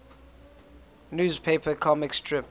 newspaper comic strip